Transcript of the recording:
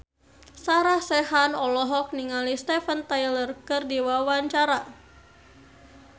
Sarah Sechan olohok ningali Steven Tyler keur diwawancara